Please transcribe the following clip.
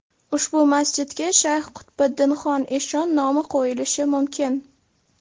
Ushbu masjidga Shayx Qutbiddinxon eshon nomi qo‘yilishi mumkin.